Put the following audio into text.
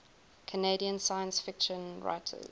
canadian science fiction writers